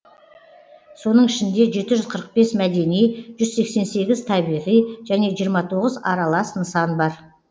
соның ішінде жеті жүз қырық бес мәдени жүз сексен сегіз табиғи және жиырма тоғыз аралас нысан бар